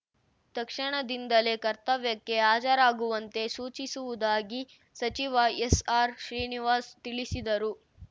ತಕ್ಷಣದಿಂದಲೇ ಕರ್ತವ್ಯಕ್ಕೆ ಹಾಜರಾಗುವಂತೆ ಸೂಚಿಸುವುದಾಗಿ ಸಚಿವ ಎಸ್‌ಆರ್‌ಶ್ರೀನಿವಾಸ ತಿಳಿಸಿದರು